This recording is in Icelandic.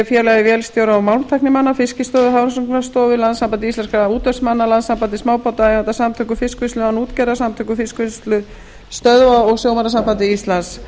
félagi vélstjóra og málmtæknimanna fiskistofu hafrannsóknastofnuninni landssambandi íslenskra útvegsmanna landssambandi smábátaeigenda samtökum fiskvinnslu án útgerðar samtökum fiskvinnslustöðva og sjómannasambandi íslands